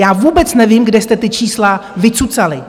Já vůbec nevím, kde jste ta čísla vycucali.